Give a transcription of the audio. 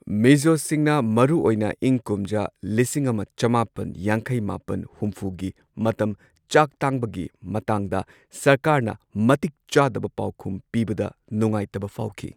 ꯃꯤꯖꯣꯁꯤꯡꯅ ꯃꯔꯨꯑꯣꯏꯅ ꯏꯪ ꯀꯨꯝꯖꯥ ꯂꯤꯁꯤꯡ ꯑꯃ ꯆꯃꯥꯄꯟ ꯌꯥꯡꯈꯩ ꯃꯥꯄꯟ ꯍꯨꯝꯐꯨꯒꯤ ꯃꯇꯝ ꯆꯥꯛ ꯇꯥꯡꯕꯒꯤ ꯃꯇꯥꯡꯗ ꯁꯔꯀꯥꯔꯅ ꯃꯇꯤꯛ ꯆꯥꯗꯕ ꯄꯥꯎꯈꯨꯝ ꯄꯤꯕꯗ ꯅꯨꯡꯉꯥꯏꯇꯕ ꯐꯥꯎꯈꯤ꯫